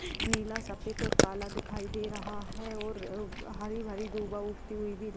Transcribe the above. नीला सफ़ेद और काला दिखाई दे रहा है और हरी-भरी दूभा उगती हुई भी --